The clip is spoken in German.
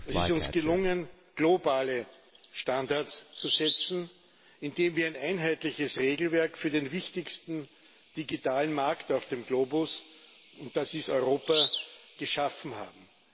Es ist uns gelungen, globale Standards zu setzen, indem wir ein einheitliches Regelwerk für den wichtigsten Digitalmarkt auf dem Globus und das ist Europa geschaffen haben.